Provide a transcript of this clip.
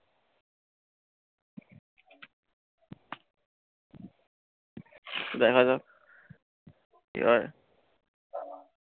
দেখা যাক। এবার